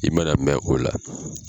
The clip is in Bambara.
I mana mɛn o la